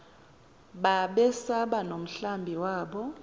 babesaba nomhlambi wabo